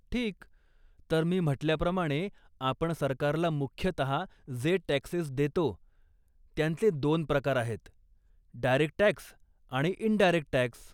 ठीक, तर मी म्हटल्याप्रमाणे आपण सरकारला मुख्यतः जे टॅक्सेस देतो, त्यांचे दोन प्रकार आहेत, डायरेक्ट टॅक्स आणि इंडायरेक्ट टॅक्स.